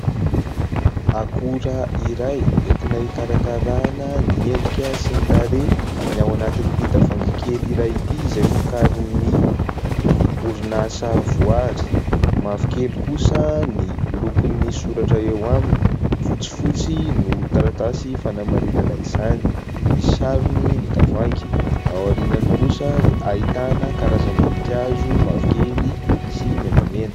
Akora iray entina hikarakarana ny endrika sy ny tarehy ny ao anatin'ity tavoahangy kely iray ity, izay vokarin'ny orinasa Voary. Mavokely kosa ny lokon'ny soratra eo aminy, fotsifotsy no taratasy fanamarinana izany. Misy sarony ny tavohangy. Ao aoriany kosa dia ahitana karazam-boninkazo mavokely sy menamena.